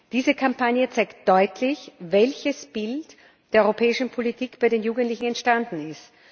Diese Kampagne zeigt deutlich, welches Bild der europäischen Politik bei den Jugendlichen entstanden ist.